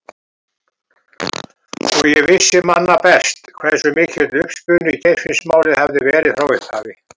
Og ég vissi manna best hversu mikill uppspuni Geirfinnsmálið hafði verið frá upphafi.